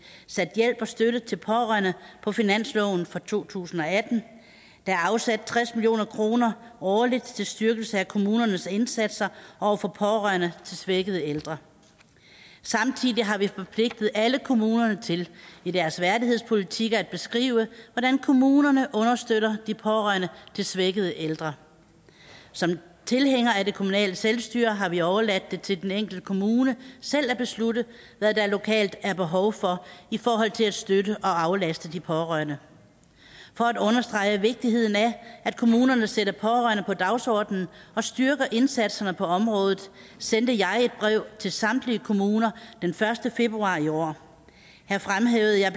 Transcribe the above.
sat hjælp og støtte til pårørende på finansloven for to tusind og atten der er afsat tres million kroner årligt til styrkelse af kommunernes indsatser over for pårørende til svækkede ældre samtidig har vi forpligtet alle kommunerne til i deres værdighedspolitikker at beskrive hvordan kommunerne understøtter de pårørende til svækkede ældre som tilhængere af det kommunale selvstyre har vi overladt det til den enkelte kommune selv at beslutte hvad der lokalt er behov for i forhold til at støtte og aflaste de pårørende for at understrege vigtigheden af at kommunerne sætter pårørende på dagsordenen og styrker indsatserne på området sendte jeg et brev til samtlige kommuner den første februar i år her fremhævede jeg